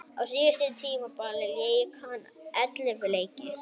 Á síðasta tímabili lék hann ellefu leiki.